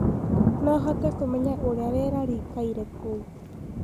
no hote kumenya uria rĩera rĩĩkaĩre kou